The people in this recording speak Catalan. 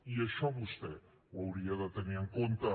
i això vostè ho hauria de tenir en compte